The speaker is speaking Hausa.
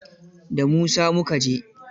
Da Musa mu ka je.